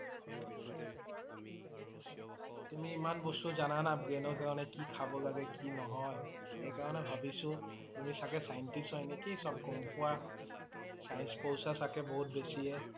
তুমি ইমান বস্তু জনা না। brain ৰ কাৰণে কি খাব লাগে কি নহয় এইকাৰণে ভাবিছোঁ তুমি চাগে Scientist হয় নেকি সব গম পোৱা । Science পঢ়িছা চাগে বহুত বেছিয়ে